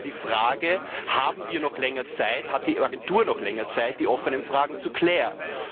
Es geht also um die Frage, haben wir noch länger Zeit, hat die Agentur noch länger Zeit, die offenen Fragen zu klären?